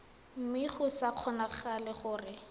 mme go sa kgonagale gore